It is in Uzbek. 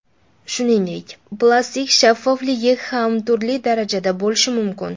Shuningdek, plastik shaffofligi ham turli darajada bo‘lishi mumkin.